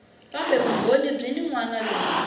kumbe vumbhoni byin wana lebyi